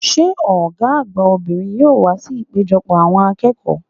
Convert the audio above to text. Sé Ògá àgbà obìnrin yóò wá sí ìpéjopò àwon akéèkòó ?'